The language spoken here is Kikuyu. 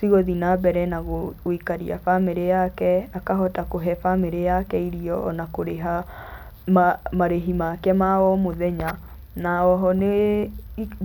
cigũthi na mbere na gũikaria bamĩrĩ yake, akahota kũhe bamĩrĩ yake irio na kũrĩha marĩhi make ma omũthenya. Na oho nĩ